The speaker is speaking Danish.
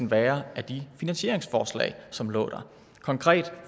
være af de finansieringsforslag som lå der konkret